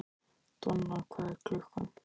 Donna, hvað er klukkan?